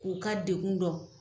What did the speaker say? K'o ka degun dɔn